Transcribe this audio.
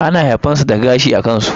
ana haifan su da gashi a kansu.